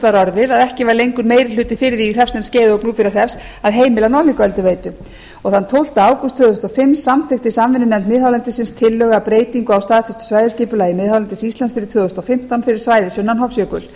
var orðið að ekki var lengur meiri hluti fyrir því í hreppsnefnd skeiða og gnúpverjahrepps að heimila norðlingaölduveitu þann tólfta ágúst tvö þúsund og fimm samþykkti samvinnunefnd miðhálendis tillögu að breytingu á staðfestu svæðisskipulagi miðhálendis íslands fyrir tvö þúsund og fimmtán fyrir svæðið sunnan hofsjökuls